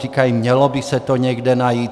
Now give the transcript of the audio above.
Říkají, mělo by se to někde najít.